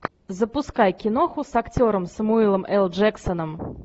запускай киноху с актером сэмюэлом л джексоном